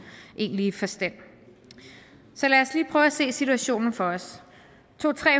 egentlige forstand så lad os lige prøve at se situationen for os to